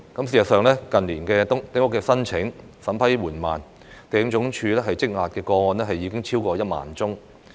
事實上，近年丁屋申請審批緩慢，地政總署積壓的個案已超過1萬宗。